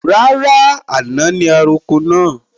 Rárá, àná ni a roko náà